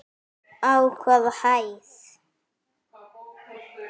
Á hvaða hæð?